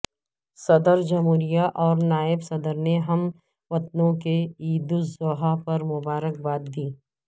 صدرجمہوریہ اور نائب صدرنے ہم وطنوں کو عید الاضحی پر مبارکباد دی